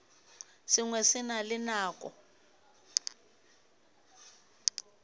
sengwe se na le nako